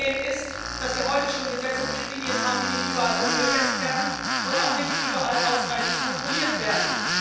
Das Problem ist, dass wir heute Gesetze und Richtlinien haben, die nicht überall umgesetzt werden und auch nicht überall ausreichend kontrolliert werden.